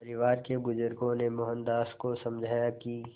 परिवार के बुज़ुर्गों ने मोहनदास को समझाया कि